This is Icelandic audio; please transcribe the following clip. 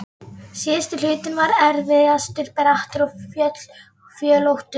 Síðasti hlutinn var erfiðastur, brattur og fjöllóttur.